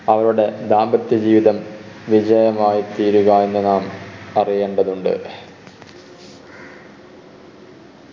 അവിടെ ദാമ്പത്യ ജീവിതം വിജയമായി തീരുക എന്ന് നാം അറിയേണ്ടതുണ്ട്.